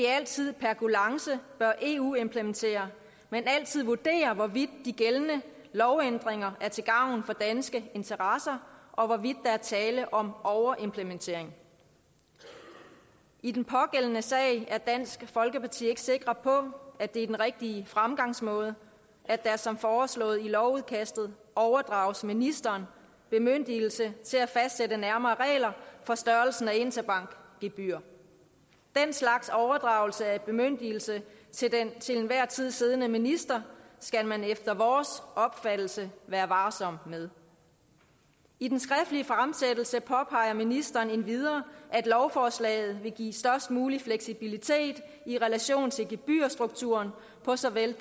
altid per kulance bør eu implementere men altid vurdere hvorvidt de gældende lovændringer er til gavn for danske interesser og hvorvidt der er tale om overimplementering i den pågældende sag er dansk folkeparti ikke sikre på at det er den rigtige fremgangsmåde at der som foreslået i lovudkastet overdrages ministeren bemyndigelse til at fastsætte nærmere regler for størrelsen af interbankgebyrer den slags overdragelse af bemyndigelse til den til enhver tid siddende minister skal man efter vores opfattelse være varsom med i den skriftlige fremsættelse påpeger ministeren endvidere at lovforslaget vil give størst mulig fleksibilitet i relation til gebyrstrukturen for såvel